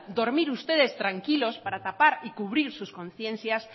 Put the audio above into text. ustedes dormir tranquilos para tapar y cubrir sus conciencias